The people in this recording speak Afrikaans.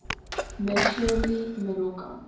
me shirley moroka